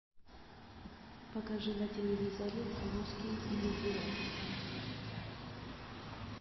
покажи на телевизоре русский иллюзион